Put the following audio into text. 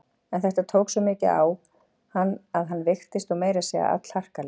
En þetta tók svo mikið á hann að hann veiktist og meira að segja allharkalega.